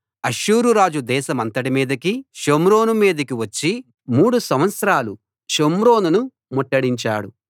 అష్షూరురాజు దేశమంతటి మీదకీ షోమ్రోను మీదకీ వచ్చి మూడు సంవత్సరాలు షోమ్రోనును ముట్టడించాడు